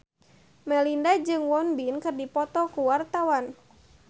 Melinda jeung Won Bin keur dipoto ku wartawan